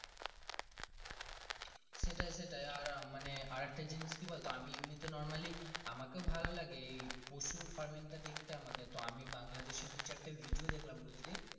সেটাই সেটাই আর মানে আর একটা জিনিস কি বলতো আমি এমনি তে normally আমাকেও ভালো লাগে এই পশুর farming তা দেখতে আমাকে তো আমি বাংলাদেশ ইর দু চার টা video দেখলাম।